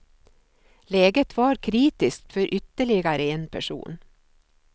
Läget var kritiskt för ytterligare en person.